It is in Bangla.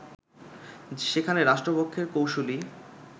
সেখানে রাষ্ট্রপক্ষের কৌঁসুলি